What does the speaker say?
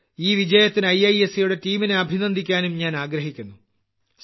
ഈ വിജയത്തിന് IIScയുടെ ടീമിനെ അഭിനന്ദിക്കാനും ഞാൻ ആഗ്രഹിക്കുന്നു